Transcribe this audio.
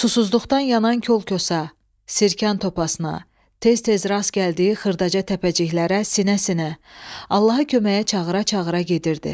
Susuzluqdan yanan kol-kosa, sirkən topasına, tez-tez rast gəldiyi xırdaca təpəciklərə sinə-sinə, Allaha köməyə çağıra-çağıra gedirdi.